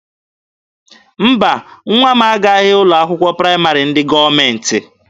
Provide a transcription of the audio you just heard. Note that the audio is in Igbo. Mba, nwa m agaghị aga ụlọ akwụkwọ praịmarị ndị gọọmenti.